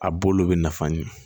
A bolo bɛ nafa ɲin